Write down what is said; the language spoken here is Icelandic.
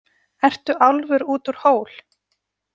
Ertu álfur út úr hól?